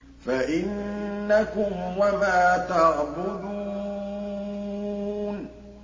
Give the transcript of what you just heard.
فَإِنَّكُمْ وَمَا تَعْبُدُونَ